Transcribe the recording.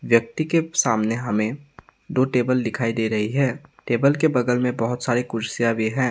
व्यक्ति के सामने हमें दो टेबल दिखाई दे रही है टेबल के बगल में बहुत सारी कुर्सियां भी है।